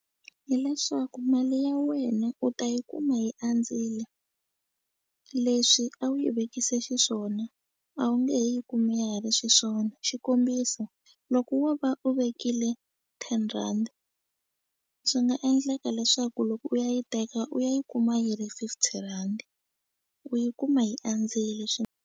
Hi leswaku mali ya wena u ta yi kuma yi andzile leswi a wu yi vekise xiswona a wu nge he yi kumi ya ha ri xiswona xikombiso loko wo va u vekile ten rhandi swi nga endleka leswaku loko u ya yi teka u ya yi kuma yi ri fifty rhandi u yi kuma yi andzile .